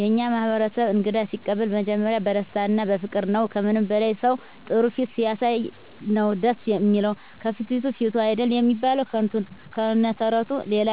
የእኛ ማህበረሰብ እንግዳ ሲቀበሉ መጀመሪያ በደስታ እና በፍቅር ነዉ። ከምንም በላይ ሰዉ ጥሩ ፊት ሲያሳይ ነዉ ደስ እሚለዉ፤ ከፍትፍቱ ፊቱ አይደል እሚባል ከነ ተረቱ። ሌላ